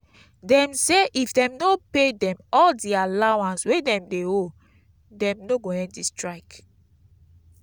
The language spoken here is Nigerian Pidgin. dem say if dem no pay dem all di allowance wey dem dey owe dem no go end di strike.